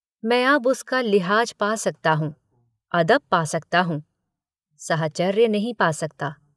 मैं अब उसका लिहाज पा सकता हूँ अदब पा सकता हूँ साहचर्य नहीं पा सकता।